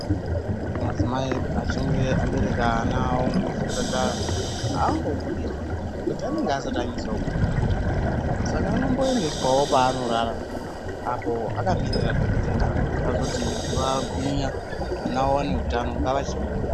Madzimai edu achinge abeteka ana avo muzvipatara hangobudiswi ngekuti anenge asati anyasa kunginya. Saka anomboendeswavo paanorara apo akamirira dhogodheya kuti azoti vagwinya mwana ave nehutano ngachibhuda.